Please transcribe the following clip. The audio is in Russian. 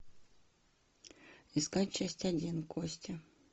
искать часть один кости